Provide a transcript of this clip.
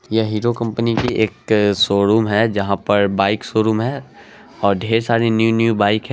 ये हीरो कंपनी की एक शोरूम है जहाँ पर बाइक शोरूम है और ढेर सारी न्यू न्यू बाइक --